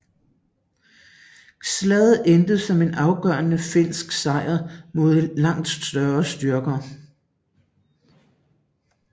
Slaget endte som en afgørende finske sejr mod langt større styrker